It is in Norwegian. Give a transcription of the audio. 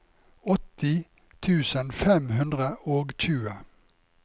åtti tusen fem hundre og tjue